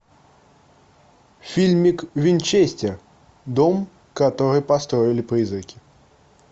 фильмик винчестер дом который построили призраки